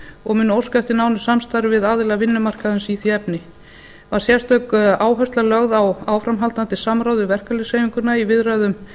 og munu óska eftir nánu samstarfi við aðila vinnumarkaðarins í því efni var sérstök áhersla lögð á áframhaldandi samráð við verkalýðshreyfinguna í viðræðum